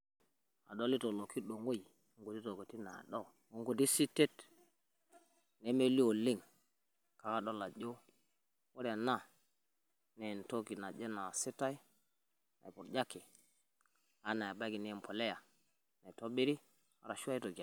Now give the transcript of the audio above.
Adolita olokidong'oi o nkuti tokitin nado, o nkuti sitet nmelio oleng, kake adol ajo, ore ena naa entoki naje naasitai, naipurjaki, ana anaa ebaiki naa empolea, naitobiri ashu aitojon.